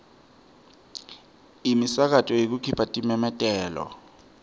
imisakato yekukhipha timemetelo